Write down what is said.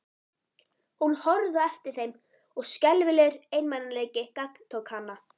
Hún horfði á eftir þeim og skelfilegur einmanaleiki gagntók hana.